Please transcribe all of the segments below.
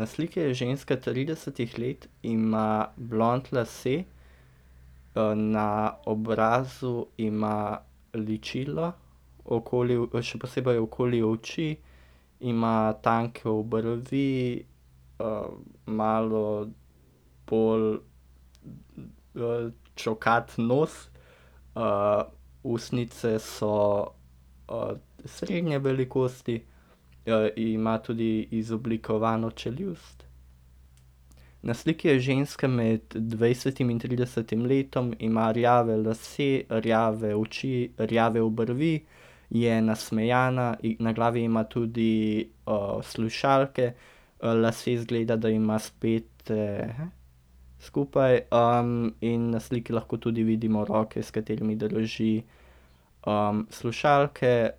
Na sliki je ženska tridesetih let in ima blond lase. na obrazu ima ličilo, okoli še posebej okoli oči, ima tanke obrvi, malo bolj čokat nos. ustnice so, srednje velikosti, in ima tudi izoblikovano čeljust. Na sliki je ženska med dvajsetim in tridesetim letom, ima rjave lase, rjave oči, rjave obrvi. Je nasmejana, na glavi ima tudi, slušalke, lase izgleda, da ima spete skupaj, in na sliki lahko tudi vidimo roke, s katerimi drži, slušalke,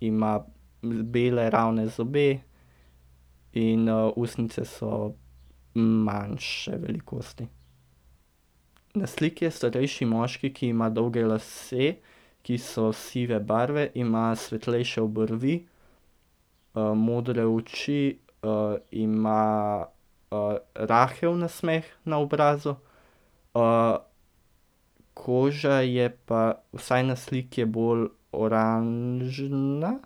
ima, bele ravne zobe in, ustnice so, manjše velikosti. Na sliki je starejši moški, ki ima dolge lase, ki so sive barve, ima svetlejše obrvi. modre oči, ima, rahel nasmeh na obrazu, koža je pa, vsaj na sliki je bolj oranžna.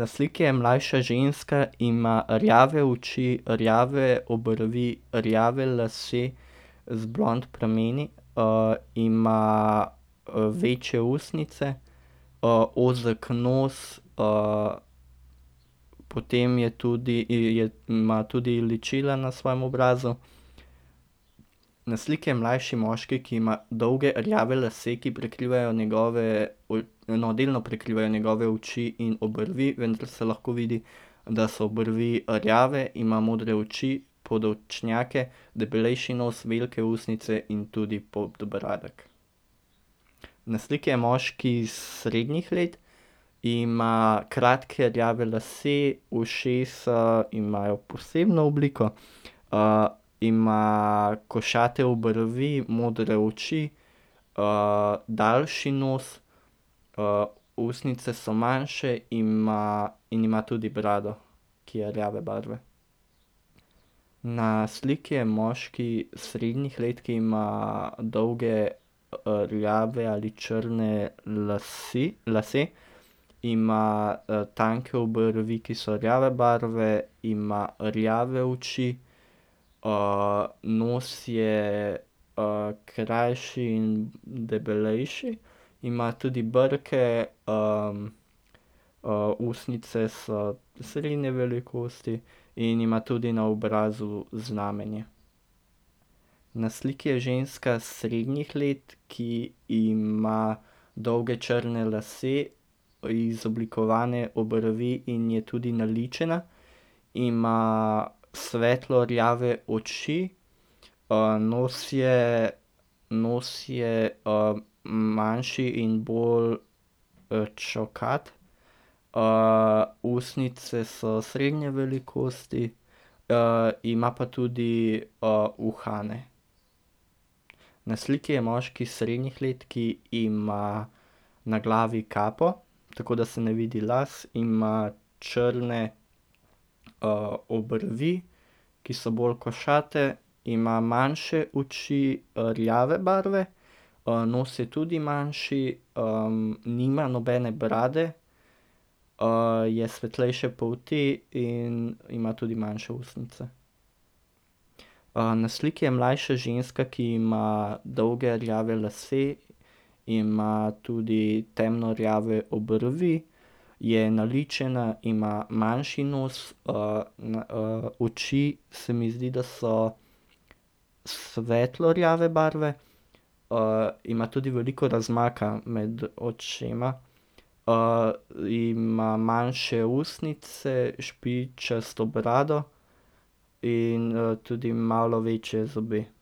Na sliki je mlajša ženska, ima rjave oči, rjave obrvi, rjave lase z blond prameni, ima, večje ustnice, ozek nos, potem je tudi ima tudi ličila na svojem obrazu. Na sliki je mlajši moški, ki ima dolge rjave lase, ki prekrivajo njegove no, delno prekrivajo njegove oči in obrvi, vendar se lahko vidi, da so obrvi rjave, ima modre oči, podočnjake, debelejši nos, velike ustnice in tudi podbradek. Na sliki je moški srednjih let. Ima kratke rjave lase, ušesa imajo posebno obliko, ima košate obrvi, modre oči, daljši nos, ustnice so manjše ima in ima tudi brado, ki je rjave barve. Na sliki je moški srednjih let, ki ima dolge rjave ali črne lase, lase. Ima, tanke obrvi, ki so rjave barve, ima rjave oči, nos je, krajši in debelejši, ima tudi brke, ustnice so srednje velikosti in ima tudi na obrazu znamenje. Na sliki je ženska srednjih let, ki ima dolge črne lase, izoblikovane obrvi in je tudi naličena. Ima svetlo rjave oči, nos je, nos je, manjši in bolj, čokat. ustnice so srednje velikosti, ima pa tudi, uhane. Na sliki je moški srednjih let, ki ima na glavi kapo, tako da se ne vidi las. Ima črne, obrvi, ki so bolj košate, ima manjše oči, rjave barve. nos je tudi manjši, nima nobene brade. je svetlejše obrvi in ima tudi manjše ustnice. na sliki je mlajša ženska, ki ima dolge rjave lase. Ima tudi temno rjave obrvi, je naličena, ima manjši nos, na, oči, se mi zdi, da so svetlo rjave barve. ima tudi veliko razmaka med očema. ima manjše ustnice, špičasto brado in, tudi malo večje zobe.